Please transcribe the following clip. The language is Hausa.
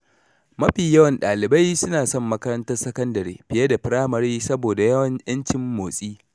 Mafi yawan ɗalibai suna son makarantar sakandare fiye da firamare saboda ’yancin motsi.